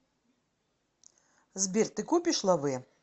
сбер ты копишь лавэ